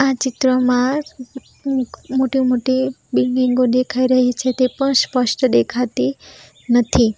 આ ચિત્રમાં મોટી મોટી બિલ્ડીંગો દેખાઈ રહી છે તે પણ સ્પષ્ટ દેખાતી નથી.